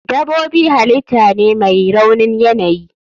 Dabobi halitah ne mai raunin yanayi.